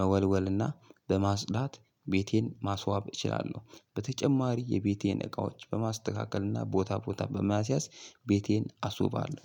መወልወል እና በማፅዳት ቤቴን ማስዋብ እችላለሁ። በተጨማሪ የቤቴን እቃዎች በማስተካከል እና ቦታ ቦታ በማስያዝ ቤቴን አስውባለሁ።